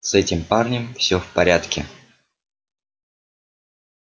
с этим парнем все в порядке